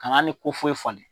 Ka n'a ni ko foyi falen.